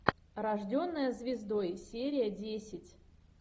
рожденная звездой серия десять